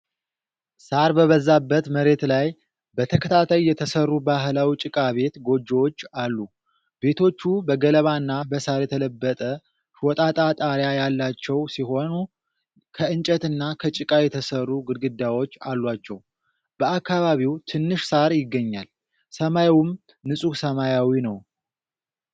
ሣር በበዛበት መሬት ላይ በተከታታይ የተሠሩ ባህላዊ ጭቃ ቤት (ጎጆዎች) አሉ። ቤቶቹ በገለባና በሳር የተለበጠ ሾጣጣ ጣሪያ ያላቸው ሲሆኑ፣ ከእንጨትና ከጭቃ የተሠሩ ግድግዳዎች አሏቸው። በአካባቢው ትንሽ ሳር ይገኛል፣ ሰማዩም ንጹህ ሰማያዊ ነው።